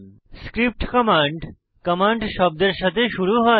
script command command command শব্দের সাথে শুরু হয়